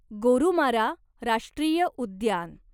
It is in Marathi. गोरुमारा राष्ट्रीय उद्यान